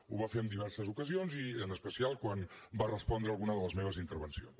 ho va fer en diverses ocasions i en especial quan va respondre alguna de les meves intervencions